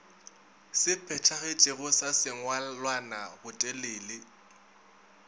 se phethagetšego sa sengwalwana botelele